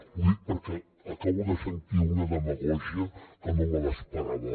ho dic perquè acabo de sentir una demagògia que no me l’esperava